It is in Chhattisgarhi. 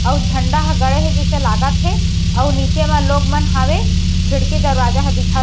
अउ झंडा ह गड़े हे जिसे लागत हे अउ नीचे मा लोग मन हावे खिड़की दरवाज़ा ह दिखत --